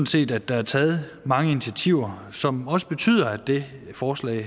set at der er taget mange initiativer som også betyder at det her forslag